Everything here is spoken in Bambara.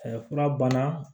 fura banna